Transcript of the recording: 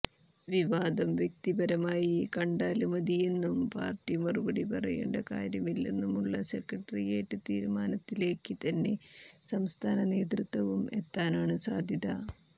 വിവാദം വ്യക്തിപരമായി കണ്ടാല് മതിയെന്നും പാര്ട്ടി മറുപടി പറയേണ്ട കാര്യമില്ലെന്നുമുള്ള സെക്രട്ടേറിയറ്റ് തീരുമാനത്തിലേക്ക് തന്നെ സംസ്ഥാന നേതൃത്വവും എത്താനാണ് സാധ്യത